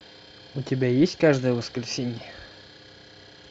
у тебя есть каждое воскресенье